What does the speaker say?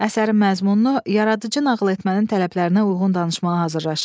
Əsərin məzmununu yaradıcı nağıl etmənin tələblərinə uyğun danışmağa hazırlaşın.